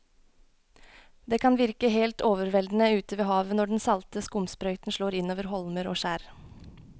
Det kan virke helt overveldende ute ved havet når den salte skumsprøyten slår innover holmer og skjær.